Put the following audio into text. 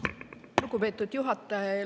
Lugupeetud juhataja!